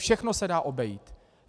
Všechno se dá obejít.